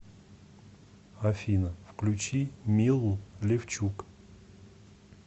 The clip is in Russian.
афина включи милу левчук